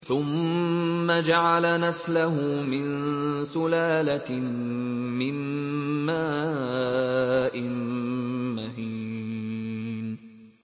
ثُمَّ جَعَلَ نَسْلَهُ مِن سُلَالَةٍ مِّن مَّاءٍ مَّهِينٍ